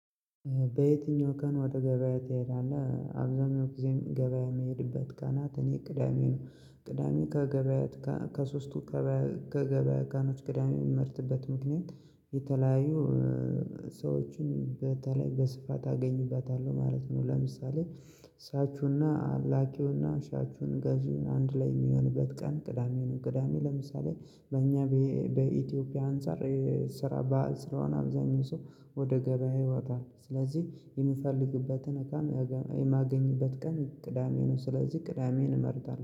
በየትኛው ቀን ወደ ገበያ ትሄዳለህ? አብዛኛው ጊዜም ገበያ የሚሄድበት ቀናት እኔ ቅዳሜ ነው። ቅዳሜ ከገበያ ከሶስቱ ከገበያ ቀኖች ቅዳሜን የምመርጥበት ምክንያት የተለያዩ ሰዎችን በተለይ በስፋት አገኝባታለሁ ማለት ነው። ለምሳሌ እሳችሁና ላኪውና ሻጩን ገዢውን አንድ ላይ የሚሆንበት ቀን ቅዳሜ ነው። ቅዳሜ ለምሳሌ በእኛ በኢትዮጵያ አንፃር ስራ ባህል ስራውን አብዛኛው ሰው ወደ ገበያ ይወጣል ስለዚህ የምፈልግበትን እቃም የማገኝበት ቀን ቅዳሜ ነው። ስለዚህ ቅዳሜን እመርጣለሁ